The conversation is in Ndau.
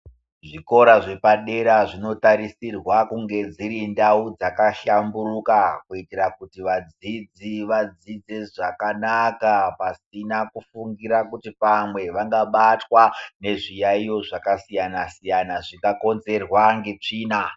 Zvikora zvepadera zvinotarisirwa kunge dziri ndau dzakahlamburuka kuitira kuti vadzidzi vadzidze zvakanaka pasina kufungira kuti pamwe vangabatwa nezviyaiyo zvakasiyana siyana zvingakonzerwa netsvina.